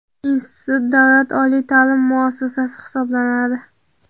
Institut davlat oliy ta’lim muassasasi hisoblanadi.